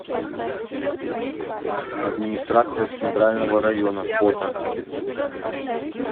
администрация центрального района фото